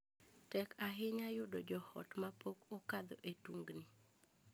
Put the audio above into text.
Tek ahinya yudo joot ma pok okadhe e tungni.